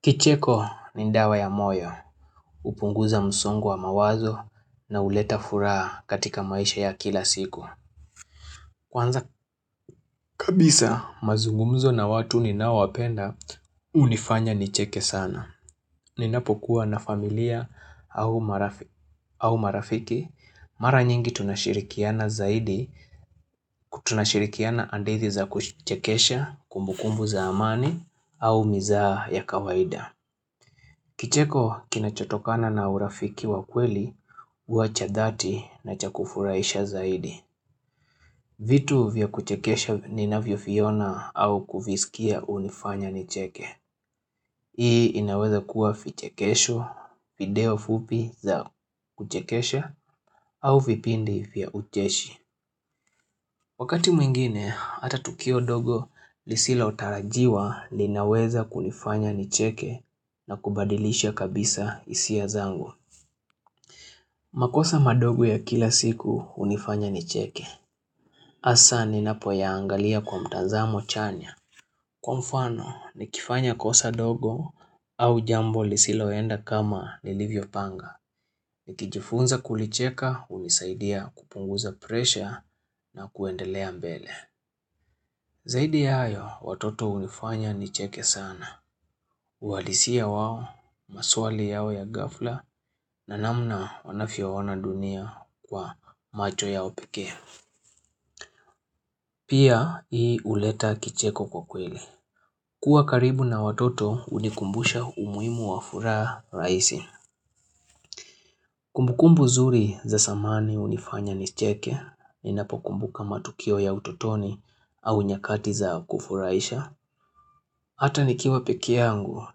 Kicheko ni dawa ya moyo, hupunguza msongo wa mawazo na huleta furaha katika maisha ya kila siku. Kwanza kabisa mazungumzo na watu ninaowapenda hunifanya nicheke sana. Ninapokuwa na familia au marafiki, mara nyingi tunashirikiana zaidi tunashirikiana andethi za kuchekesha kumbukumbu za amani au mizaa ya kawaida. Kicheko kinachotokana na urafiki wa kweli, hua cha dhati na cha kufurahisha zaidi. Vitu vya kuchekesha ninavyoviona au kuvisikia hunifanya nicheke. Hii inaweza kuwa vichekesho, video fupi za kuchekesha au vipindi vya ucheshi. Wakati mwingine, hata tukio dogo lisilotarajiwa linaweza kunifanya nicheke na kubadilisha kabisa hisia zangu. Makosa madogo ya kila siku hunifanya nicheke. hAsa ninapo yaangalia kwa mtazamo chanya. Kwa mfano, nikifanya kosa dogo au jambo lisiloenda kama nilivyopanga. Nikijifunza kulicheka hunisaidia kupunguza presha na kuendelea mbele. Zaidi ya hayo, watoto hunifanya nicheke sana. Uhalisia wao, maswali yao ya ghafla, na namna wanavyoona dunia kwa macho ya upekee. Pia, hii huleta kicheko kwa kweli. Kuwa karibu na watoto hunikumbusha umuhimu wa furaha rahisi. Kumbukumbu zuri za zamani hunifanya nicheke, ninapokumbuka matukio ya utotoni au nyakati za kufurahisha. Hata nikiwa pekeyangu,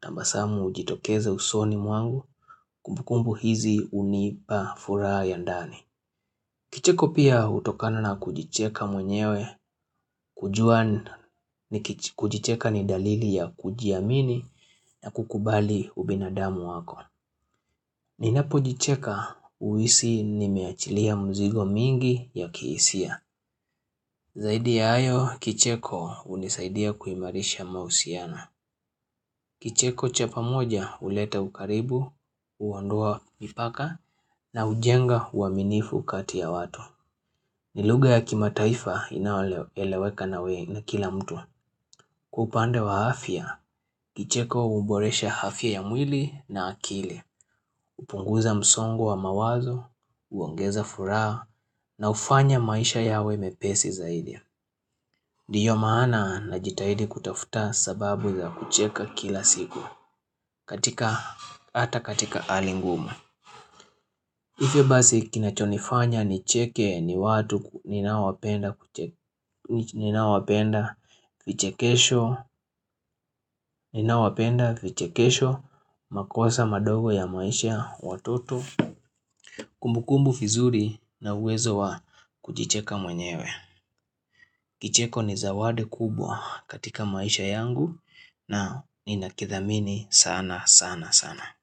tabasamu hujitokeza usoni mwangu, kumbukumbu hizi hunipa furaha ya ndani. Kicheko pia hutokana na kujicheka mwenyewe, kujua kujicheka ni dalili ya kujiamini na kukubali ubinadamu wako. Ninapojicheka huhisi nimeachilia mzigo mingi ya kihisia. Zaidi ya hayo, kicheko hunisaidia kuimarisha mahusiano. Kicheko cha pamoja hulete ukaribu, huondoa mipaka na hujenga uaminifu kati ya watu. Ni lugha ya kimataifa inayoeleweka na wengi na kila mtu. Kwa upande wa hfya, kicheko huboresha afya ya mwili na akili. hUpunguza msongo wa mawazo, huongeza furaha na hufanya maisha yawe mepesi zaidi. nDiyo maana najitahidi kutafuta sababu za kucheka kila siku. hAta katika hali ngumu hivo basi kinachonifanya nicheke ni watu ninawapenda vichekesho makosa madogo ya maisha watoto Kumbukumbu vizuri na uwezo wa kujiicheka mwenyewe Kicheko ni zawadi kubwa katika maisha yangu na ninakithamini sana sana sana.